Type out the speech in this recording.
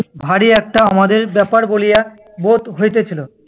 ভারি একটা আমাদের ব্যাপার বলিয়া বোধ হইতেছিল।